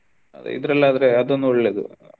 ಇದ್ರಲ್ಲಿ ಆದ್ರೆ ಅದೊಂದು ಒಳ್ಳೇದು.